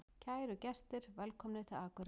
Kæru gestir! Velkomnir til Akureyrar.